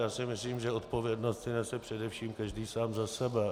Já si myslím, že odpovědnost si nese především každý sám za sebe.